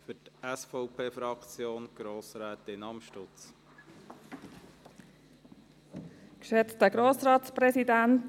– Für die SVP-Fraktion hat Grossrätin Amstutz das Wort.